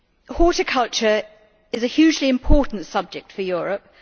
Horticulture is a hugely important subject for Europe.